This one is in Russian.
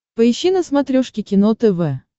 поищи на смотрешке кино тв